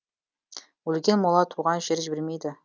өлген мола туған жер жібермейді